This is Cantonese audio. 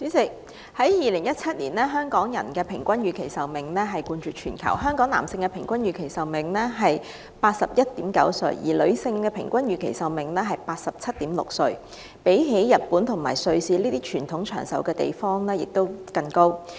主席，在2017年，香港人的平均預期壽命冠絕全球，男性達到 81.9 歲，女性則為 87.6 歲，比日本和瑞士這些國民在傳統上較為長壽的地方還要高。